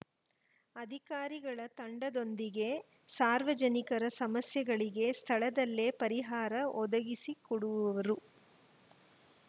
ಅಧಿಕಾರಿಗಳ ತಂಡದೊಂದಿಗೆ ಸಾರ್ವಜನಿಕರ ಸಮಸ್ಯೆಗಳಿಗೆ ಸ್ಥಳದಲ್ಲೇ ಪರಿಹಾರ ಒದಗಿಸಿಕೊಡುವವರು